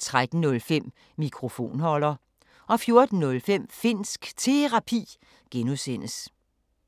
13:05: Mikrofonholder 14:05: Finnsk Terapi (G)